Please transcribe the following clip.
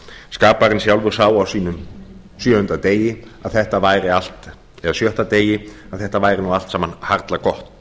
skaparinn sjálfur sá á sjötta degi að þetta væri nú allt saman harla gott